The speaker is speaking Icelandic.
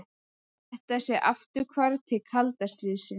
Þetta sé afturhvarf til kalda stríðsins